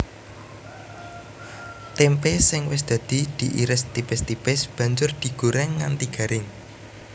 Témpé sing wis dadi diiris tipis tipis banjur digorèng nganti garing